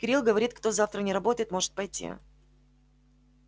кирилл говорит кто завтра не работает может пойти